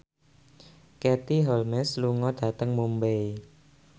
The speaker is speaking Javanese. Katie Holmes lunga dhateng Mumbai